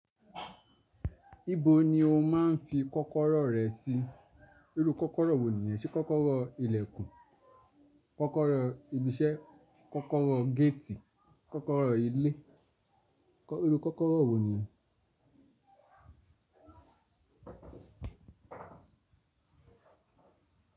Ìbò ni o máa ń fi kọ́kọ́rọ́ rẹ sí? Irú kọ́kọ́rọ́ wo ni ẹ ṣe? Kọ́kọ́rọ́ ilẹ̀kùn, kọ́kọ́rọ́ ibi iṣẹ́, kọ́kọ́rọ́ géètì, kọ́kọ́rọ́ ilé, irú kọ́kọ́rọ́ wo ni?